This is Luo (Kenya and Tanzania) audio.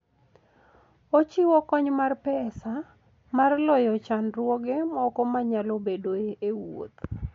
Ochiwo kony mar pesa mar loyo chandruoge moko manyalo bedoe e wuoth.